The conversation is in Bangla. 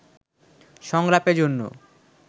সংলাপের জন্য